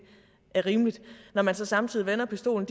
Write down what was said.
er rimeligt når man så samtidig vender pistolen